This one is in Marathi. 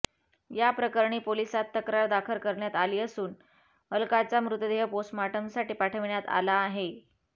या प्रकरणी पोलिसात तक्रार दाखल करण्यात आली असून अलकाचा मृतदेह पोस्टमार्टमसाठी पाठवण्यात आला आहे